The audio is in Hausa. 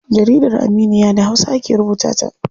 Jaridar Aminiya da hausa ake rubuta ta.